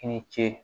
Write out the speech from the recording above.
I ni ce